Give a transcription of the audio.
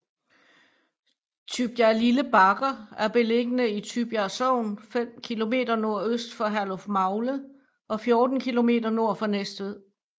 Tybjerglille Bakker er beliggende i Tybjerg Sogn fem kilometer nordøst for Herlufmagle og 14 kilometer nord for Næstved